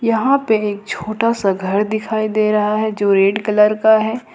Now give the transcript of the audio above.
यहां पर एक छोटा सा घर दिखाई दे रहा है जो रेड कलर का है।